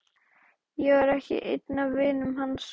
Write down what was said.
Ég var ekki einn af vinum hans.